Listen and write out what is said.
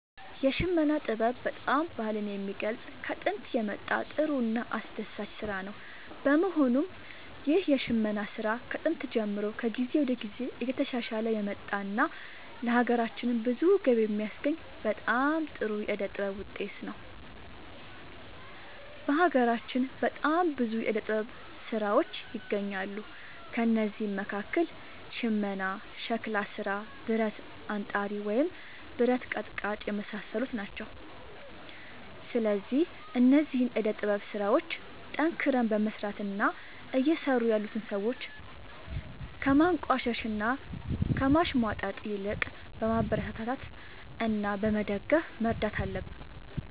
የሽመና ጥበብ በጣም ባህልን የሚገልፅ ከጦንት የመጣ ጥሩ እና አስደሳች ስራ ነው በመሆኑም ይህ የሽመና ስራ ከጥንት ጀምሮ ከጊዜ ወደ ጊዜ እየተሻሻለ የመጣ እና ለሀገራችንም ብዙ ገቢ የሚያስገኝ በጣም ጥሩ የዕደ ጥበብ ውጤት ነው። በሀገራችን በጣም ብዙ የዕደ ጥበብ ስራዎች ይገኛሉ ከእነዚህም መካከል ሽመና ሸክላ ስራ ብረት አንጣሪ ወይም ብረት ቀጥቃጭ የመሳሰሉት ናቸው። ስለዚህ እነዚህን የዕደ ጥበብ ስራዎች ጠንክረን በመስራት እና እየሰሩ ያሉትን ሰዎች ከማንቋሸሽ እና ከማሽሟጠጥ ይልቅ በማበረታታት እና በመደገፍ መርዳት አለብን